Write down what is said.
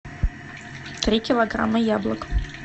три килограмма яблок